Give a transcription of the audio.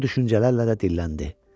Bu düşüncələrlə də dilləndi.